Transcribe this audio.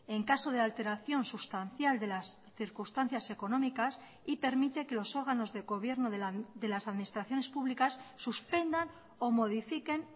en caso de alteración sustancial de las circunstancias económicas y permite que los órganos de gobierno de las administraciones públicas suspendan o modifiquen